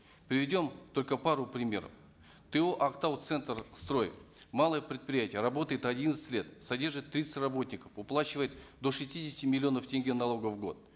приведем только пару примеров то актауцентрстрой малое предприятие работает одиннадцать лет содержит тридцать работников уплачивает до шестидесяти миллионов тенге налогов в год